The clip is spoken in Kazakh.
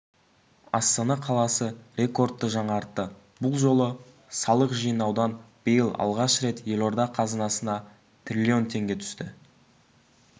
астана қаласы рекордты жаңартты бұл жолы салық жинаудан биыл алғаш рет елорда қазынасына триллион теңге түсті